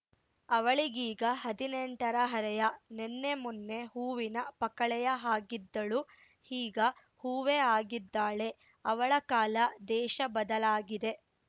ಅವಳಿಗೀಗ ಹದಿನೆಂಟರ ಹರೆಯ ನಿನ್ನೆ ಮೊನ್ನೆ ಹೂವಿನ ಪಕಳೆಯ ಹಾಗಿದ್ದಳು ಈಗ ಹೂವೇ ಆಗಿದ್ದಾಳೆ ಅವಳ ಕಾಲ ದೇಶ ಬದಲಾಗಿದೆ